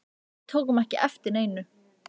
En við tókum ekki eftir neinu.